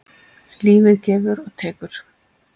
Lífið gefur og tekur.